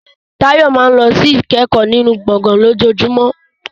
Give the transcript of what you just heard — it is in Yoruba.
Tayo máa ń lọ sí ìkẹ́kọ̀ọ́ nínú gbọ̀ngàn lójoojúmọ́.